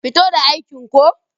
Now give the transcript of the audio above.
Fito da aikin ko.